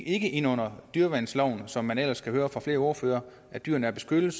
ikke ind under dyreværnsloven som man netop ellers kan høre fra flere ordførere at dyrene er beskyttet